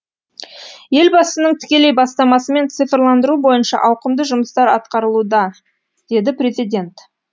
елбасының тікелей бастамасымен цифрландыру бойынша ауқымды жұмыстар атқарылуда деді президент